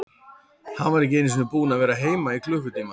Hann var ekki einu sinni búinn að vera heima í klukkutíma.